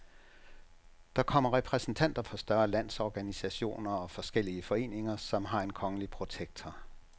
Der kommer repræsentanter for større landsorganisationer og forskellige foreninger, som har en kongelige protektor.